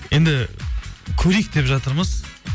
енді көрейік деп жатырмыз